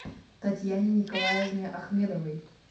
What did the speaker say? татьяне николаевне ахмедовой